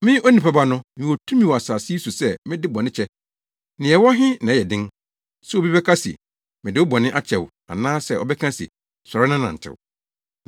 Me Onipa Ba no, mewɔ tumi wɔ asase yi so sɛ mede bɔne kyɛ. Nea ɛwɔ he na ɛyɛ den, sɛ obi bɛka se, ‘Mede wo bɔne akyɛ wo’ anaasɛ ɔbɛka se, ‘Sɔre na nantew?’ ”